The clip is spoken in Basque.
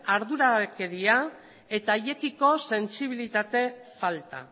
arduragabekeria eta haiekiko sentsibilitate falta